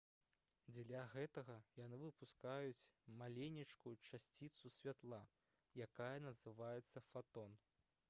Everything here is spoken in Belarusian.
дзеля гэтага яны выпускаюць маленечкую часціцу святла якая называецца «фатон»